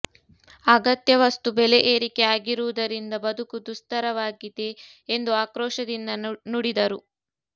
ಅಗತ್ಯ ವಸ್ತು ಬೆಲೆ ಏರಿಕೆ ಆಗಿರುವುದರಿಂದ ಬದುಕು ದುಸ್ತರವಾಗಿದೆ ಎಂದು ಆಕ್ರೋಶದಿಂದ ನುಡಿದರು